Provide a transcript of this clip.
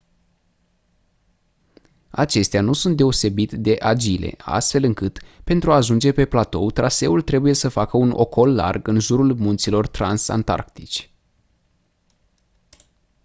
acestea nu sunt deosebit de agile astfel încât pentru a ajunge pe platou traseul trebuie să facă un ocol larg în jurul munților transantarctici